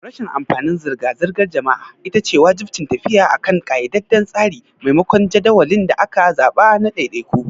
Rashin amfanin zirga-zirgar jama'a ita ce wajibcin tafiya akan ƙayyadadden tsari maimakon jadawalin da aka zaɓa na ɗaiɗaiku.